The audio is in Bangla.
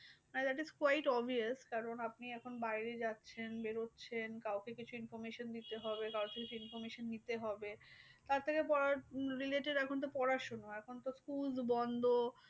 না that is quite obvious কারণ আপনি এখন বাইরে যাচ্ছেন বেরোচ্ছেন কাউকে কিছু information দিতে হবে কারোর থেকে কিছু information নিতে হবে। তার থেকে পড়ার related এখন তো পড়াশোনা। এখন তো school বন্ধ।